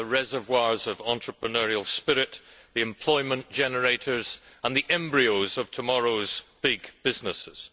They are the reservoirs of entrepreneurial spirit, the employment generators and the embryos of tomorrow's big businesses.